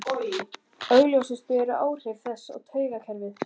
Augljósust eru áhrif þess á taugakerfið.